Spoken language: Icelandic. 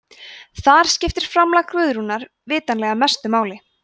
þar skiptir framlag guðrúnar vitanlega mestu máli